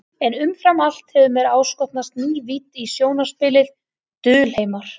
En umfram allt hefur mér áskotnast ný vídd í sjónarspilið, dulheimar.